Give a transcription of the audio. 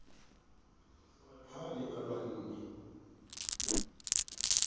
ha a ne a lwanne